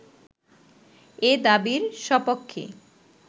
এ দাবির সপক্ষে